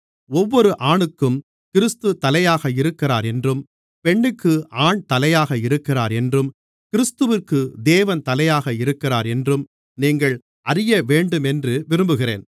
ஒவ்வொரு ஆணுக்கும் கிறிஸ்து தலையாக இருக்கிறார் என்றும் பெண்ணுக்கு ஆண் தலையாக இருக்கிறார் என்றும் கிறிஸ்துவிற்கு தேவன் தலையாக இருக்கிறார் என்றும் நீங்கள் அறியவேண்டுமென்று விரும்புகிறேன்